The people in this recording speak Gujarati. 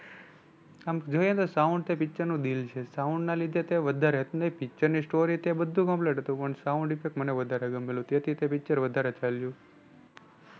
આમ જોઈએ તો sound તે પિક્ચર નું દિલ છે. sound ના લીધે તે વધારે, picture ની story તે બધુ complete હતું પણ sound effect મને વધારે ગમેલું. તેથી તે picture વધારે ચાલ્યું.